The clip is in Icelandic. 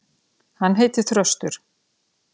Hann heitir Þröstur.